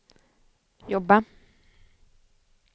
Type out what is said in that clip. jobba